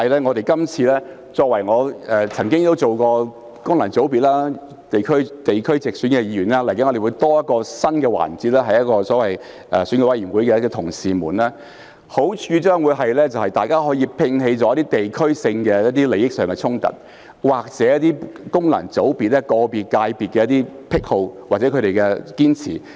我曾經擔任功能界別和地區直選的議員，未來會有新增的所謂選舉委員會的同事們，好處將會是大家可以摒棄一些地區性的利益衝突，或者個別功能界別的癖好或堅持。